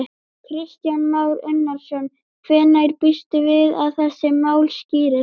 Kristján Már Unnarsson: Hvenær býstu við að þessi mál skýrist?